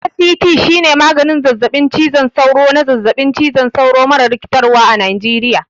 ACT shine maganin zazzaɓin cizon sauro na zazzaɓin cizon sauro mara rikitarwa a Najeriya.